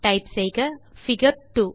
type செய்க figure 2